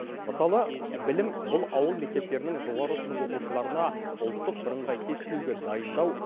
мысалы білім бұл ауыл мектептерінің жоғары сынып оқушыларына ұлттық бірыңғай тестілеуге дайындау